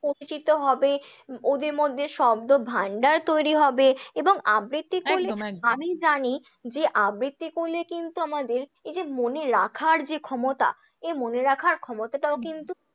পরিচিত হবে, ওদের মধ্যে শব্দ ভান্ডার তৈরী হবে, এবং আবৃত্তি একদম একদম করলে আমি জানি যে আবৃত্তি করলে কিন্তু আমাদের এই যে মনে রাখার যে ক্ষমতা, এই মনে রাখার ক্ষমতাটাও কিন্তু